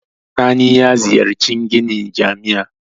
Sani ya ziyarci ginin jami'a.